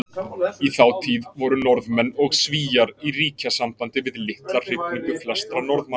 Í þá tíð voru Norðmenn og Svíar í ríkjasambandi við litla hrifningu flestra Norðmanna.